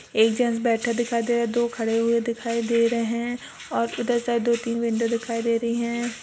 एक जैंट्स बैठा दिखाई दे रहा है। दो खड़े हुए दिखाई दे रहे हैं और उधर शायद दो तीन विंडो दिखाई दे रही हैं।